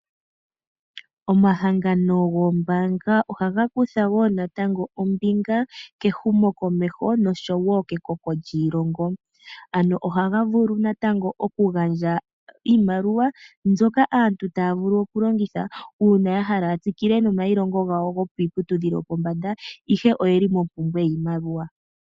Omahangano goombaanga ohaga kutha woo natango ombinga kehumokomeho nosho woo ke koko lyiilonga. Ohaga vulu natango oku gandja iimaliwa mbyoka aantu taya vulu oku longitha uuna yahala ya tsikile nomayilongo gawo gokiiputudhilo yopombanda ihe oyeli mompumbwe yiimaliwa.